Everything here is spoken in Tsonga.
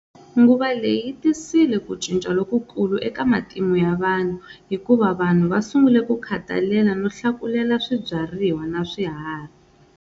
Nguva leyi yitise ku cinca lokukulu eka matimu ya vanhu, hikuva vanhu va sungule ku khatalela no hlakulela swibyariwa na swiharhi.